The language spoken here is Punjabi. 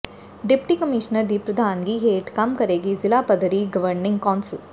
ਡਿਪਟੀ ਕਮਿਸ਼ਨਰ ਦੀ ਪ੍ਰਧਾਨਗੀ ਹੇਠ ਕੰਮ ਕਰੇਗੀ ਜ਼ਿਲਾ ਪੱਧਰੀ ਗਵਰਨਿੰਗ ਕੌਾਸਲ